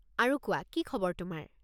আৰু কোৱা, কি খবৰ তোমাৰ?